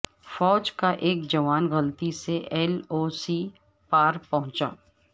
فوج کا ایک جوان غلطی سے ایل او سی پارپہنچا